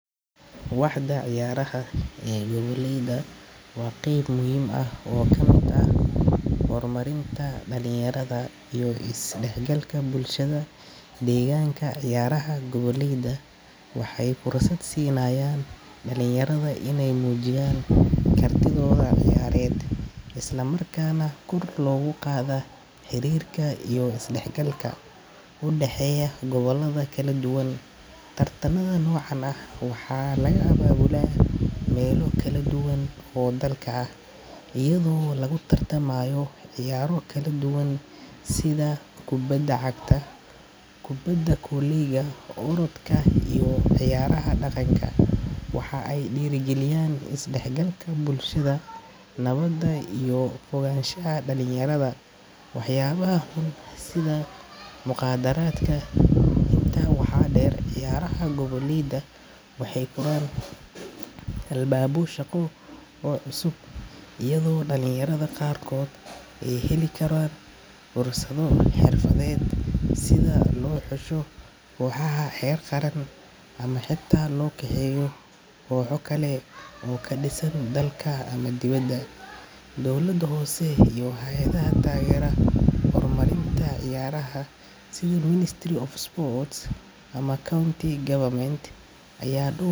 Waxda ciyaaraha goboleyda waa qeyb muhiim ah oo ka mid ah horumarinta dhalinyarada iyo is dhexgalka bulshada deegaanka. Ciyaaraha goboleyda waxay fursad siinayaan dhalinyarada inay muujiyaan kartidooda ciyaareed, isla markaana kor loogu qaado xiriirka iyo isdhexgalka u dhexeeya gobollada kala duwan. Tartanada noocan ah waxaa laga abaabulaa meelo kala duwan oo dalka ah, iyadoo lagu tartamayo ciyaaro kala duwan sida kubadda cagta, kubadda kolayga, orodka iyo cayaaraha dhaqanka. Waxa ay dhiirrigeliyaan is dhexgalka bulshada, nabadda, iyo ka fogaanshaha dhalinyarada waxyaabaha xun sida mukhaadaraadka. Intaa waxaa dheer, ciyaaraha goboleyda waxay furaan albaabyo shaqo oo cusub, iyadoo dhalinyarada qaarkood ay heli karaan fursado xirfadeed sida in loo xusho kooxaha heer qaran ama xitaa loo kaxeeyo kooxo kale oo ka dhisan dalka ama dibadda. Dowladda hoose iyo hay'adaha taageera horumarinta ciyaaraha sida Ministry of Sports ama county governments ayaa doo.